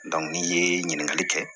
n'i ye ɲininkali kɛ